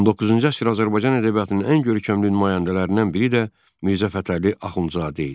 19-cu əsr Azərbaycan ədəbiyyatının ən görkəmli nümayəndələrindən biri də Mirzə Fətəli Axundzadə idi.